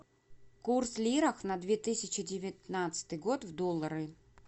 курс лира на две тысячи девятнадцатый год в доллары